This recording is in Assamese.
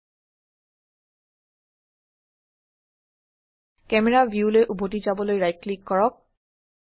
ক্যামেৰা ভিউলৈ উভতি যাবলৈ ৰাইট ক্লিক কৰক